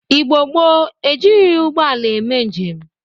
Igbo gboo e jirighi ụgbọ ala eme njem.